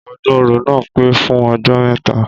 Ọdún oro naa pẹ́ fún ọjọ́ mẹ́ta